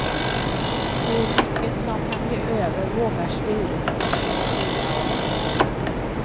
Hur mycket som kan bli över vågar styrelsen inte sia om.